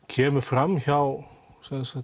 kemur fram hjá